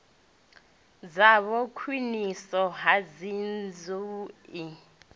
dzavho khwiniso ya dzinnḓu i